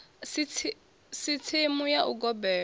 si tsimu ya u gobela